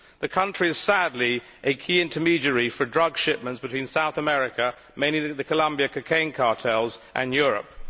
The country is, sadly, a key intermediary for drug shipments between South America mainly the Colombian cocaine cartels and Europe.